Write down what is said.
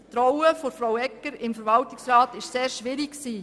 Die Rolle von Regierungsrätin Egger im Verwaltungsrat war sehr schwierig.